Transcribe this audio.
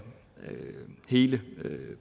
hele